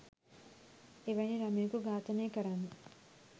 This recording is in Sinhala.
එවැනි ළමයකු ඝාතනය කරන්න